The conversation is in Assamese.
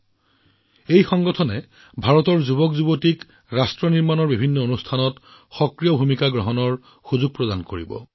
মাইভাৰাত সংগঠনে ভাৰতৰ যুৱকযুৱতীসকলক বিভিন্ন জাতি গঠন অনুষ্ঠানত সক্ৰিয় ভূমিকা গ্ৰহণ কৰাৰ সুযোগ প্ৰদান কৰিব